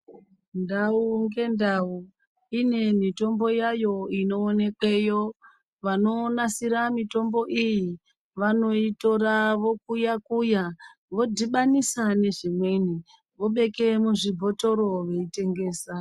Ndau ngendau ine mitombo yayo inoonekwa. Vanonasira mitombo iyi vanoitora vokuya kuya vodhibanisa nezvikweni vobeke muzvibhotoro veitengesa.